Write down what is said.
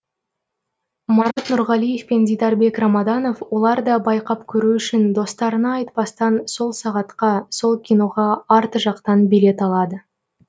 марат нұрғалиев пен дидарбек рамаданов олар да байқап көру үшін достарына айтпастан сол сағатқа сол киноға арт жақтан билет алады